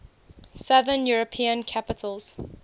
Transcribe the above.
southern european capitals